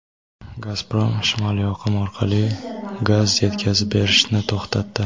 "Gazprom" "Shimoliy oqim" orqali gaz yetkazib berishni to‘xtatdi.